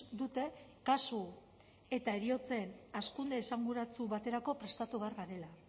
dute kasu eta heriotzen hazkunde esanguratsu baterako prestatu behar garela